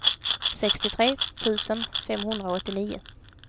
sextiotre tusen femhundraåttionio